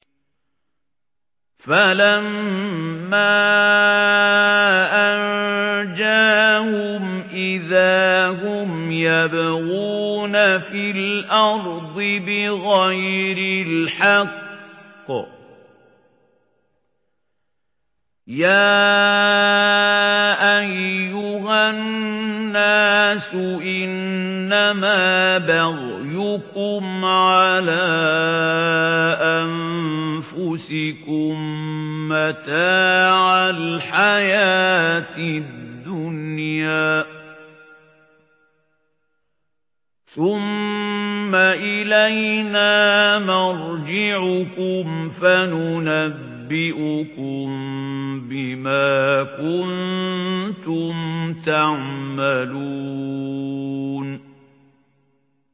فَلَمَّا أَنجَاهُمْ إِذَا هُمْ يَبْغُونَ فِي الْأَرْضِ بِغَيْرِ الْحَقِّ ۗ يَا أَيُّهَا النَّاسُ إِنَّمَا بَغْيُكُمْ عَلَىٰ أَنفُسِكُم ۖ مَّتَاعَ الْحَيَاةِ الدُّنْيَا ۖ ثُمَّ إِلَيْنَا مَرْجِعُكُمْ فَنُنَبِّئُكُم بِمَا كُنتُمْ تَعْمَلُونَ